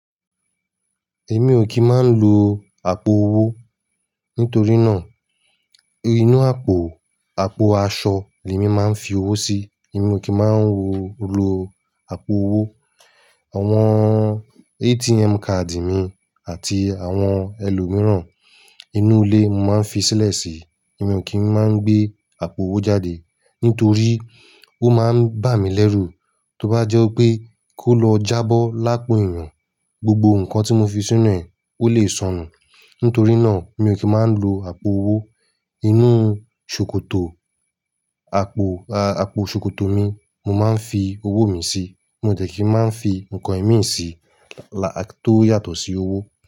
Èmi ò kì í máa ń lo àpò owó nítorí náà inú àpò, àpò aṣọ ni èmi máa ń fi owó sí. Èmi ò kí ń máa ń lo àpò owó. Àwọn ATM card mi àti àwọn ẹlòmíràn inú ilé mo máa ń fi sílẹ̀ sí i. Èmi ò kí ń máa ń gbé àpò owó jáde nítorí ó máa ń bà mí lẹ́rù. Tó bá jẹ́ pé kó lọ jábọ́ lápò ẹ̀yàn, gbogbo nǹkan tí mo fi sínú ẹ̀, ó lè sọnù. Nítorí náà, mi ò kí ń máa ń lo àpò owó. Inú ṣòkòtò, àpò, àpò ṣòkòtò mi mo máa ń fi owó mi sí. Mo dẹ̀ kí máa ń fi nǹkan ẹ̀mí sí lá-- to yàtọ̀ sí owó.